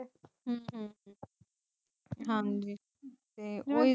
ਹਮ